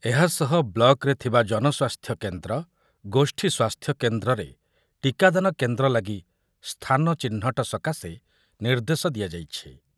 ଏହାସହ ବ୍ଲକରେ ଥିବା ଜନସ୍ୱାସ୍ଥ୍ୟ କେନ୍ଦ୍ର, ଗୋଷ୍ଠୀ ସ୍ୱାସ୍ଥ୍ୟ କେନ୍ଦ୍ରରେ ଟୀକାଦାନ କେନ୍ଦ୍ର ଲାଗି ସ୍ଥାନ ଚିହ୍ନଟ ସକାଶେ ନିର୍ଦ୍ଦେଶ ଦିଆଯାଇଛି ।